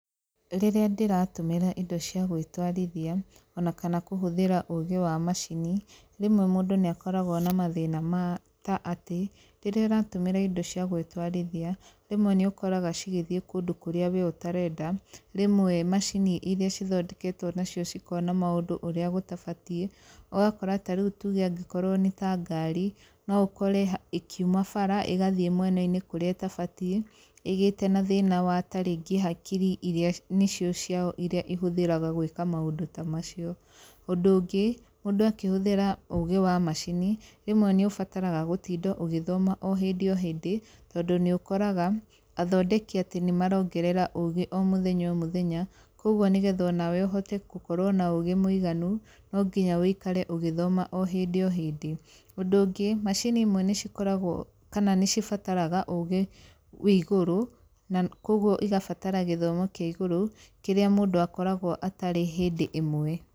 Rĩrĩa ndĩratũmĩra indo cia gwĩtwarithia o na kana kũhũthira ũgĩ wa macini, rĩmwe mũndũ nĩakoragwo na mathĩna ma ta atĩ rĩrĩa ũratũmĩra indo cia gwĩtwarithia, rĩmwe nĩukoraga cigĩthiĩ kũndũ kũrĩa ũtarenda. Rĩmwe macini irĩa cithondeketwo nacio cikona maũndũ ũrĩa gũtabatiĩ, ũgakora ta rĩu tuge angĩkorwo nĩ ta ngari no ũkore ĩkĩuma bara ĩgathiĩ mwena-inĩ kũrĩa ĩtabatiĩ ĩgĩte na thina wa ta rĩngĩ hakiri irĩa nĩcio ciao irĩa ihũthĩraga gwĩka maũndũ ta macio. Ũndũ ũngĩ mũndũ akĩhũthira ũgĩ wa macini, rĩmwe nĩ ũbataraga gũtinda ũgĩthoma o hĩndĩ o hĩndĩ, tondũ nĩũkoraga athondeki atĩ nĩ marongerera ũgĩ o mũthenya o mũthenya. Kogwo nĩgetha onawe ũhote gũkorwo na ũgĩ mũiganũ, no nginya ũikare ũgĩthoma o hĩndĩ o hĩndĩ. Ũndũ ũngĩ macini imwe nĩcikoragwo kana nĩcibataraga ũgĩ wĩigũrũ, kogwo igabatara gĩthomo kĩa igũrũ kĩrĩa mũndũ akoragwo atarĩ hĩndĩ ĩmwe.